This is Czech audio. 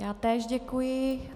Já též děkuji.